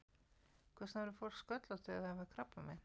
Hvers vegna verður fólk sköllótt þegar það fær krabbamein?